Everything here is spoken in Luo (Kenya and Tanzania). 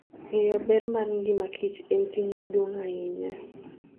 Ng'eyo ber mar ngimaKich en ting' maduong' ahinya.